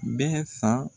Bɛ san